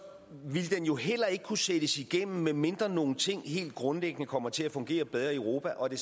ville den jo heller ikke kunne sættes igennem medmindre nogle ting helt grundlæggende kommer til at fungere bedre i europa og det